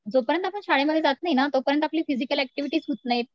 जो पर्यंत आपण शाळेमध्ये जात नाही ना तोपर्यंत आपली फिजिकल ऍक्टिव्हिटीज होत नाही